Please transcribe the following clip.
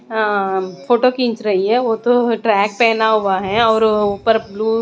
अह photo खींच रही है वो तो ट्रैक पहना हुआ है और ऊपर ब्लू --